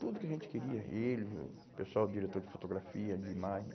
tudo que a gente queria, ele, o pessoal, diretor de fotografia, de imagem.